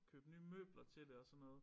Købe nye møbler til det og sådan noget